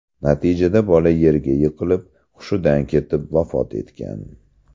Natijada bola yerga yiqilib hushidan ketib, vafot etgan.